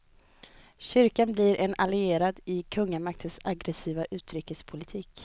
Kyrkan blir en allierad i kungamaktens aggressiva utrikespolitik.